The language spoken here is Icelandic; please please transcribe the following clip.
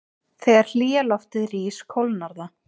Þegar hlýja loftið rís kólnar það.